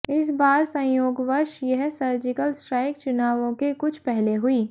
इस बार संयोगवश यह सर्जिकल स्ट्राइक चुनावों के कुछ पहले हुई